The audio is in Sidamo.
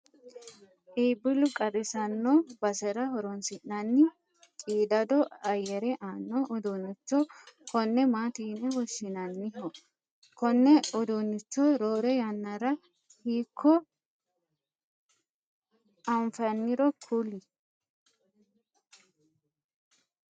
iibbillu qarrisanno basera horonsi'nanni qiidado ayyere aanno uduunnicho konne maati yine woshshinanniho? konne uduunnicho roore yannara hiikko anfanniro kulie ?